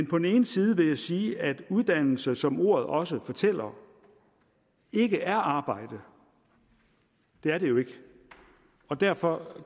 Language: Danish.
på den ene side vil jeg sige at uddannelse som ordet også fortæller ikke er arbejde det er det jo ikke og derfor